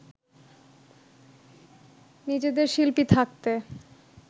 নিজেদের শিল্পী থাকতে